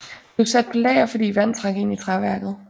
Blev sat på lager fordi vand trak ind i træværket